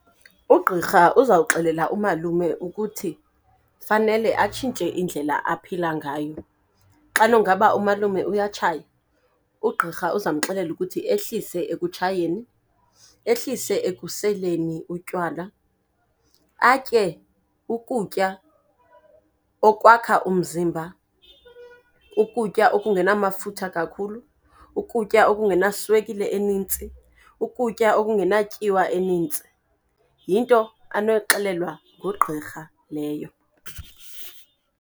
Ugqirha uzawuxelela umalume ukuthi fanele atshintshe indlela aphila ngayo. Xa nungaba umalume uyatshaya ugqirha uzawumxelela ukuthi ehlise ekutshayeni, ehlise ekuseleni utywala. Atye ukutya okwakha umzimba, ukutya okungenamafutha kakhulu, ukutya okungenaswekile enintsi, ukutya okungenatyiwa enintsi. Yinto anoyixelelwa ngugqirha leyo.